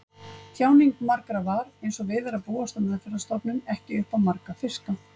Tjáning margra var, einsog við er að búast á meðferðarstofnun, ekki upp á marga fiska.